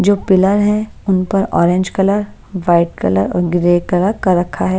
जो पिलर है उन पर ऑरेंज कलर वाइट कलर और ग्रे कलर कर रखा है।